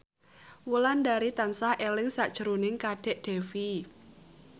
Wulandari tansah eling sakjroning Kadek Devi